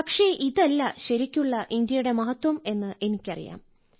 പക്ഷേ ഇതല്ല ശരിക്കുള്ള ഇന്ത്യയുടെ മഹത്വം എന്ന് എനിക്കറിയാം